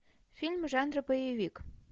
фильм жанра боевик